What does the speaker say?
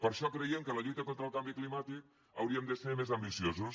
per això creiem que en la lluita contra el canvi climàtic hauríem de ser més ambiciosos